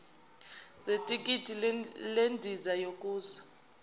zethikithi lendiza yokuya